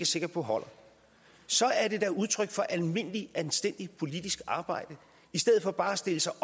sikker på holder så er det da udtryk for almindelig anstændigt politisk arbejde i stedet for bare at stille sig